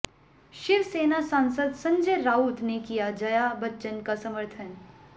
शिव सेना सांसद संजय राउत ने किया जया बच्चन का समर्थन